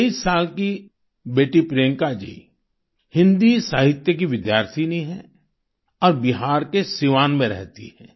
23 साल की बेटी प्रियंका जी हिन्दी साहित्य की विद्यार्थिनी हैं और बिहार के सीवान में रहती हैं